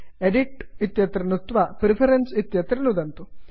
edit edit इत्यत्र नुदन्तु तदनन्तरं प्रेफरेन्सेस् प्रिफरेन्स् इत्यत्र नुदन्तु